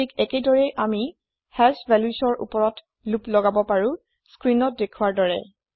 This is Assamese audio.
ঠিক একেদৰেই আমি হাশ valuesৰ ওপৰত লোপ লগাব পাৰো স্ক্ৰিনত দেখোৱাৰ দৰে